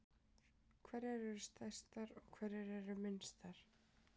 Hverjar eru stærstar og hverjar eru minnstar?